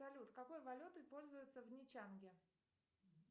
салют какой валютой пользуются в нячанге